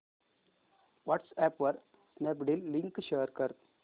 WhatsApp वर Snapdeal link share कर